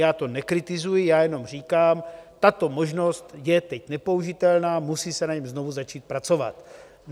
Já to nekritizuji, já jenom říkám, tato možnost je teď nepoužitelná, musí se na něm znovu začít pracovat.